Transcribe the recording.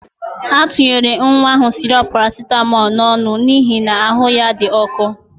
A tunyere nwa ahụ sịrọp parasitamọl n'ọnụ n'ihi na ahụ ya dị ọkụ.